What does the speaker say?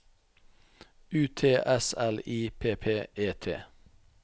U T S L I P P E T